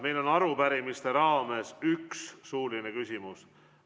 Meil on arupärimiste raames ette nähtud üks suuline küsimus.